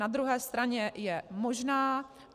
Na druhé straně je možná.